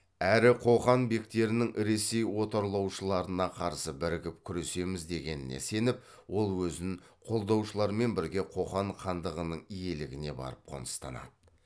әрі қоқан бектерінің ресей отарлаушыларына қарсы бірігіп күресеміз дегеніне сеніп ол өзін қолдаушылармен бірге қоқан хандығының иелігіне барып қоныстанады